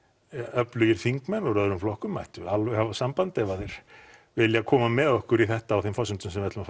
öflugir þingmenn úr öðrum flokkum mættu alveg hafa samband ef að þeir vilja koma með okkur í þetta á þeim forsendum sem við ætlum